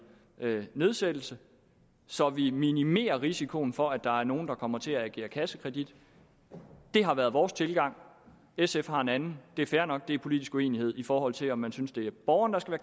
nedsættelse så vi minimerer risikoen for at der er nogle der kommer til at yde kassekredit det har været vores tilgang sf har en anden og det er fair nok det er politisk uenighed i forhold til om man synes det er borgerne